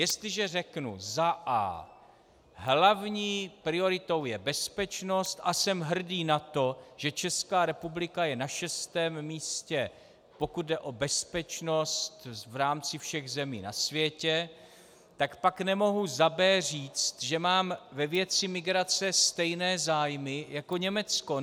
Jestliže řeknu za a) hlavní prioritou je bezpečnost a jsem hrdý na to, že Česká republika je na šestém místě, pokud jde o bezpečnost v rámci všech zemí na světě, tak pak nemohu za b) říct, že mám ve věci migrace stejné zájmy jako Německo.